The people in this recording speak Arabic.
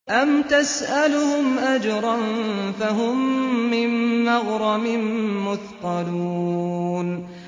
أَمْ تَسْأَلُهُمْ أَجْرًا فَهُم مِّن مَّغْرَمٍ مُّثْقَلُونَ